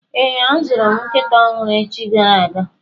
Ee, azụrụ m nkịta ọhụrụ echi gara aga.